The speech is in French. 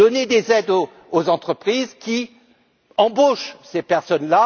des aides aux entreprises qui embauchent ces personnes.